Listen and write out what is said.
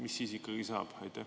Mis siis ikkagi saab?